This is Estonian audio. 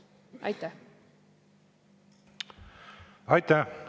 Aitäh!